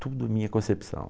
Tudo é minha concepção.